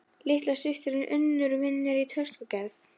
Litla systirin Unnur vinnur í töskugerð.